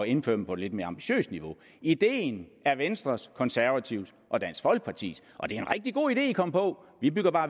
indføre dem på et lidt mere ambitiøst niveau ideen er venstres konservatives og dansk folkepartis og det er en rigtig god idé man kom på vi bygger